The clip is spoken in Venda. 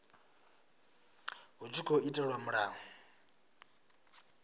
hu tshi tkhou itelwa mulayo